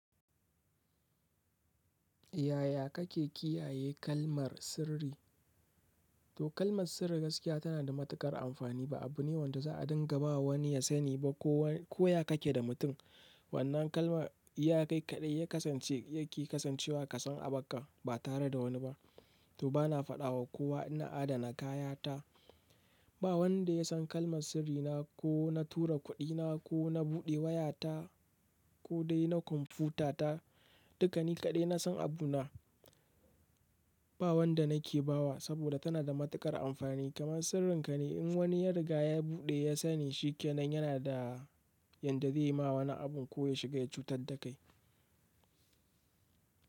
Yaya kake kiyaye kalmar sirri? To kalmar sirri gaskiya tana da matuƙar amfani. Ba abu ne wanda za a dinga bawa wani ya sani ba ko ya kake da mutum. Wannan kalma, iyakai kaɗai ya kasance yake kasancewa ka san abakka ba tare da wani ba. To bana faɗawa kowa ina adana kayata. Ba wanda yasan kalmar sirrina ko na tura kuɗi na, ko na buɗe waya ta, ko dai na computer ta dukani kaɗai na san abu na. Ba wanda nake bawa saboda tana da matuƙar amfani. Kaman sirrin ka ne in wani ya riga ya buɗe ya sani shikenan yana da yanda zai yi ma wani abun ko ya shiga ya cutar da kai.